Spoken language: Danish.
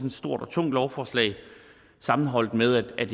et stort og tungt lovforslag sammenholdt med at